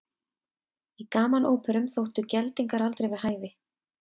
Í gamanóperum þóttu geldingar aldrei við hæfi.